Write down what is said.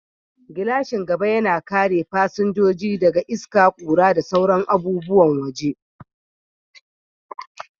Gilashin gaba yana kare fasinjoji daga iska, ƙura, da sauran abubuwan waje.